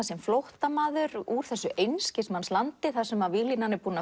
sem flóttamaður úr einskismannslandi þar sem víglínan er búin að